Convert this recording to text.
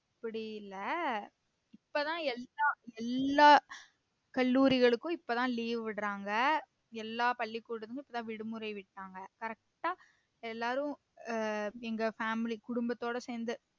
அப்படி இல்ல இப்பதான் எல்லா எல்லா கல்லூரிகளுக்கும் இப்பதான் leave விடுராங்க எல்லா பள்ளிக்கூடமும் இப்போதான் விடுமுறை விட்டாங்க correct ஆ எல்லாரும் அஹ் எங்க family குடும்பத்தோட சேர்ந்து